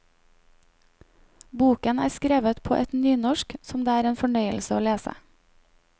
Boken er skrevet på et nynorsk som det er en fornøyelse å lese.